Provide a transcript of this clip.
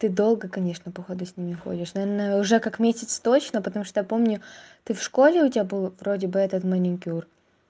ты долго конечно походу с ними ходишь наверное уже как месяц точно потому что я помню ты в школе у тебя была вроде бы этот маникюр